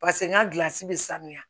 Paseke n ka gilansi bɛ sanuya